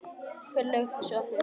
Hver laug þessu að þér?